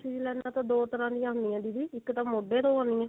princess ਲਾਈਨਾ ਤਾਂ ਦੋ ਤਰ੍ਹਾਂ ਦੀਆਂ ਹੁੰਦੀਆਂ ਦੀਦੀ ਇੱਕ ਤਾਂ ਮੋਗੇ ਤੋਂ ਆਉਂਦੀਆਂ